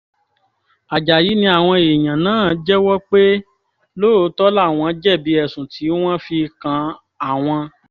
àjàyí ni àwọn èèyàn náà jẹ́wọ́ pé lóòótọ́ làwọn jẹ̀bi ẹ̀sùn tí wọ́n fi kan àwọn